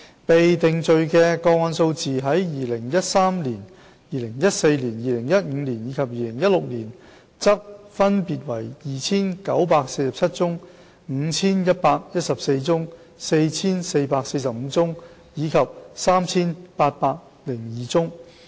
被定罪的個案數字在2013年、2014年、2015年及2016年則分別為 2,947 宗、5,114 宗、4,445 宗及 3,802 宗。